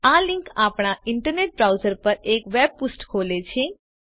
આ લિંક આપણા internet browser પર એક વેબ પૃષ્ઠ ખોલે છે